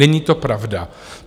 Není to pravda.